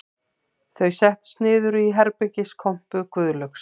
Þau settust niður í herbergiskompu Guðlaugs